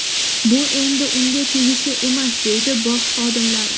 Bu endi unga tegishli emas”, − deydi bog‘ xodimlari.